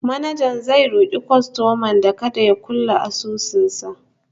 manajan bankin zai roki kwastoman kada ya kulle asusun sa